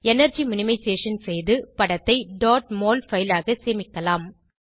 energy minimization செய்து படத்தை dot mol file ஆக சேமிக்கலாம்